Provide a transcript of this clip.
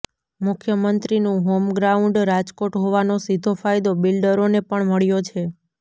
મુખ્યમંત્રીનું home ground Rajkot હોવાનો સીધો ફાયદો બિલ્ડરોને પણ મળ્યો છે